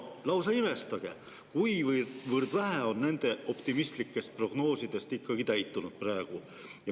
Lausa imestama, kuivõrd vähe on nende optimistlikest prognoosidest praeguseks täitunud.